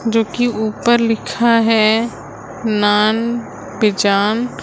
जोकि ऊपर लिखा है नॉन बेजान।